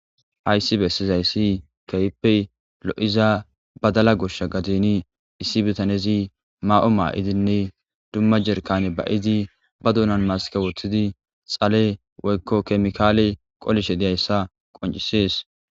hayssi bessizay ssi keyippe lo7iza badala gushsha gadini issi bitanezi maa7o maa7idinne dumma jerkane ba7izi ba duunan maska woththidi xale woykko kemikaale qolishe diyayssa qoncisees